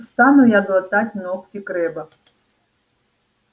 стану я глотать ногти крэбба